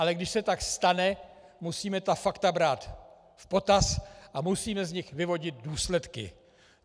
Ale když se tak stane, musíme ta fakta brát v potaz a musíme z nich vyvodit důsledky.